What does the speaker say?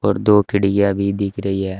और दो खिडीयां भी दिख रही है।